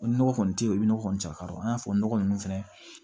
O nɔgɔ kɔni tɛ ye o bɛ nɔgɔ kɔni caya ka don an y'a fɔ nɔgɔ ninnu fɛnɛ